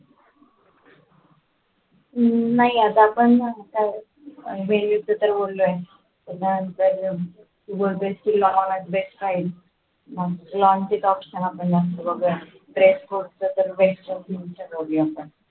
हम्म नाही आता पण